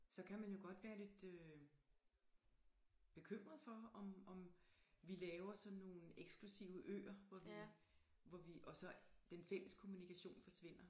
Så kan man jo godt være lidt øh bekymret for om om vi laver sådan nogle eksklusive øer hvor vi hvor vi og så den fælles kommunikation forsvinder